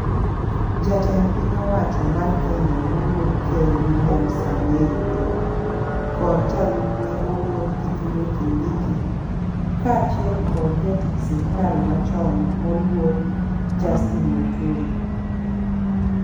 Jatend piny owacho mar Kenya moluor ker William Samoei Ruto kod jalupne moluor Kithure Kindiki kaachiel kod jatich sirikal machon moluor Justine Muturi.